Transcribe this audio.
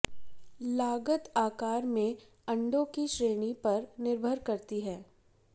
लागत आकार में अंडों की श्रेणी पर निर्भर करती है